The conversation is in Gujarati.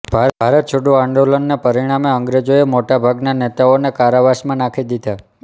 ભારત છોડો આંદોલનને પરિણામે અંગ્રેજોએ મોટા ભાગન નેતાઓને કારાવાસમાં નાખી દીધાં